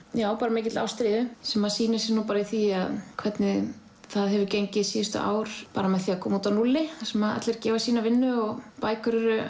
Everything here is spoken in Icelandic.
mikilli ástríðu sem sýnir sig í því hvernig það hefur gengið síðustu ár bara með því að koma út á núlli þar sem allir gefa sína vinnu og bækur eru